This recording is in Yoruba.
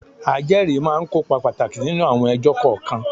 Ajẹ́rìí máa ń kópa pàtàkì nínú àwọn ẹjọ́ kọ̀ọ̀kan.